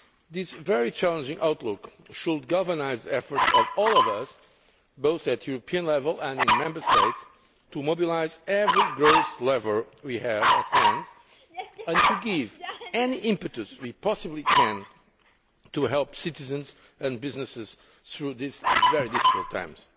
This very challenging outlook should galvanise the efforts of all of us, both at European level and in the Member States, to mobilise every growth lever we have at hand and give any impetus we possibly can to help citizens and businesses through these very difficult times.